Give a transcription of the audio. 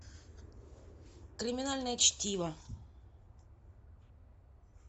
криминальное чтиво